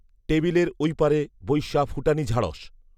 টেবিলের ঐপারে বইসা ফুটানী ঝাড়স